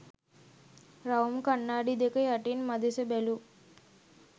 රවුම් කණ්ණාඩි දෙක යටින් මදෙස බැලූ